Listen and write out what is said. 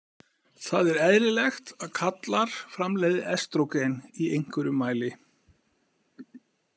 Það er eðlilegt að karlar framleiði estrógen í einhverju mæli.